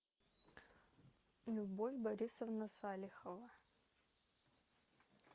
любовь борисовна салихова